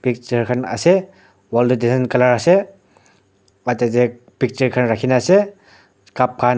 picture khan ase wall tae design colour ase picture khan rakhina ase cup .